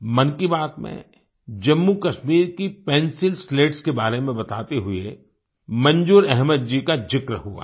मन की बात में जम्मूकश्मीर की पेंसिल स्लेट्स पेन्सिल स्लेट्स के बारे में बताते हुए मंजूर अहमद जी का जिक्र हुआ था